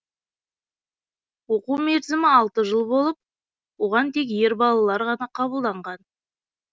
оқу мерзімі алты жыл болып оған тек ер балалар ғана қабылданған